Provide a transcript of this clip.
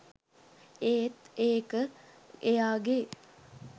ඒත් ඒක එයාගේ